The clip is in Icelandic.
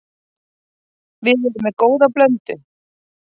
Við erum með góða blöndu.